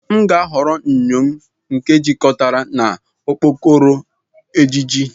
M ga-ahọrọ enyo m nke ejikọtara na okpokoro ejiji.